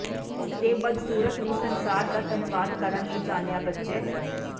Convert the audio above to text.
ਇਸ ਦੇ ਬਦਸੂਰਤ ਨੂੰ ਸੰਸਾਰ ਦਾ ਧੰਨਵਾਦ ਕਰਨ ਲਈ ਜਾਣਿਆ ਬੱਚੇ